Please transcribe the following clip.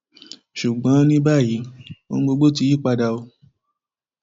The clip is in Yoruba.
ṣùgbọn ní báyìí ohun gbogbo ti yípadà um